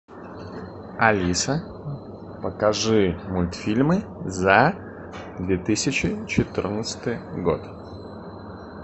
алиса покажи мультфильмы за две тысячи четырнадцатый год